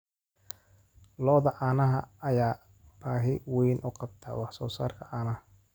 Lo'da caanaha ayaa baahi weyn u qabta wax soo saarka caanaha.